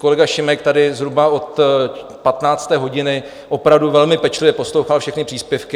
Kolega Šimek tady zhruba od 15. hodiny opravdu velmi pečlivě poslouchal všechny příspěvky.